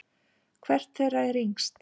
Hvert þeirra er yngst?